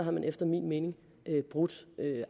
har man efter min mening brudt